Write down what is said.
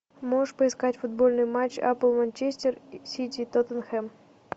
можешь поискать футбольный матч апл манчестер сити тоттенхэм